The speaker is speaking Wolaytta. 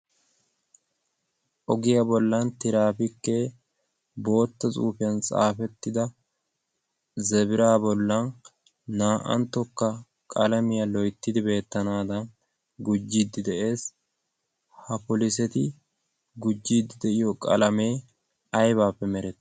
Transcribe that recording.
ogiyaa bollan tiraafikkee bootto cuufiyan saafettida zabira bollan naa'anttokka qalamiyaa loyttidi beettanaadan gujjiddi de'ees. ha poliseti gujjiddi de'iyo qalamee aybaappe meree?